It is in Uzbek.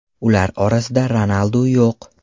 Ular orasida Ronaldu yo‘q.